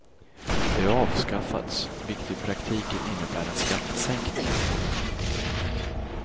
Det har avskaffats, vilket i praktiken innebär en skattesänkning.